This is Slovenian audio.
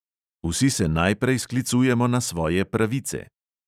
Vsi se najprej sklicujemo na svoje pravice.